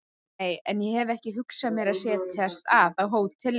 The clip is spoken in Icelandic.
Nei, en ég hef ekki hugsað mér að setjast að á hóteli